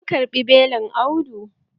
An karɓi belin Audu.